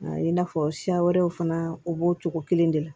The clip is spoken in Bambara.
I n'a fɔ siya wɛrɛw fana u b'o cogo kelen de la